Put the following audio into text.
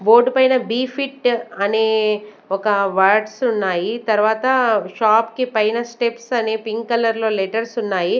Board పైన be fit అనే ఒక వర్డ్స్ ఉన్నాయి తర్వాత షాప్ కి పైన స్టెప్స్ అనే పింక్ కలర్ లో లెటర్స్ ఉన్నాయి.